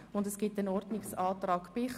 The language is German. Bichsel wird einen Ordnungsantrag stellen.